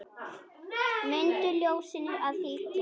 Mundu ljósinu að fylgja.